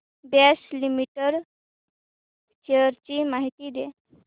Bosch limited shares ची माहिती द्या